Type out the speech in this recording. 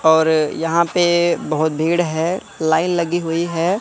और यहां पे बहोत भीड़ है लाइन लगी हुई है।